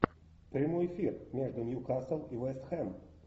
прямой эфир между нью касл и вест хэм